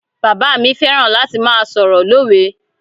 Bàbáà mi fẹ́ràn láti máa sọ̀rọ̀ lówe.